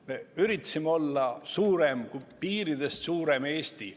Me üritasime olla suurem, piiridest suurem Eesti.